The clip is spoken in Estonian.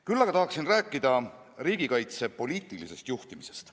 Küll aga tahan rääkida riigikaitse poliitilisest juhtimisest.